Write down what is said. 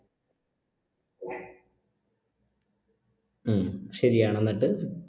ഉം ശരിയാണ് എന്നിട്ട്